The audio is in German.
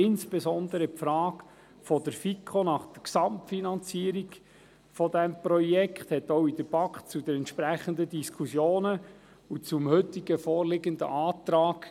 Insbesondere führte die Frage der FiKo nach der Gesamtfinanzierung des Projekts auch in der BaK zu entsprechenden Diskussionen sowie zum heute vorliegenden Antrag